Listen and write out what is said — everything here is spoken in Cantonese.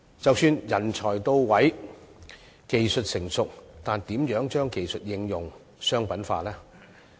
即使人才到位，技術成熟，但如何將技術應用及商品化呢？